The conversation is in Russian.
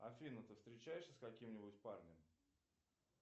афина ты встречаешься с каким нибудь парнем